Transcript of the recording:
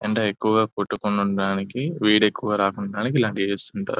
ఎండ ఎక్కువగా కొట్టకుండా ఉండడానికి వేడి ఎక్కువ రాకుండా ఉండడానికి ఇలాంటివి చేస్తుంటారు --